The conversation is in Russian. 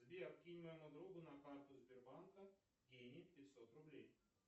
сбер кинь моему другу на карту сбербанка денег пятьсот рублей